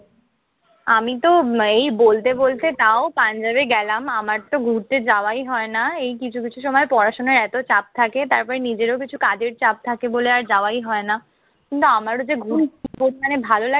আমিতো এই বলতে বলতে তাও পাঞ্জাবে গেলাম। আমারতো ঘুরতে যাওয়াই হয় না। এই কিছু কিছু সময় পড়াশোনার এতো চাপ থাকে। তারপরে নিজেরও কিছু কাজের চাপ থাকে বলে আর যাওয়াই হয় না। কিন্তু আমারও যে ঘুরতে খুব মানে ভালো লাগে।